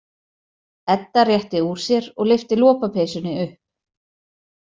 Edda rétti úr sér og lyfti lopapeysunni upp.